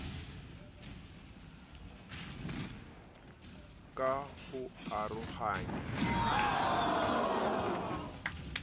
ka ho arohanya ditlhaku o